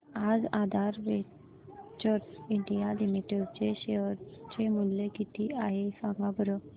आज Aadhaar Ventures India Limited चे share चे मूल्य किती आहे सांगा बरं